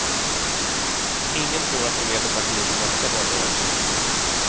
Ingen tror att hon leder partiet i nästa valrörelse.